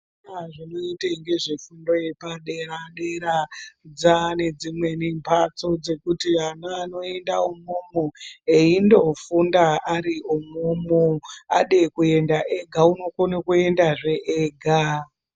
Vanoita nezvefundo yepadera dera dzaane dzimweni mbatso dzekuti ana anoenda umwomwo eindofunda ari umwomwo ade kuenda ega unokona kuendazve ega.